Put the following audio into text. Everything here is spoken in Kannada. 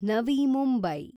ನವಿ ಮುಂಬೈ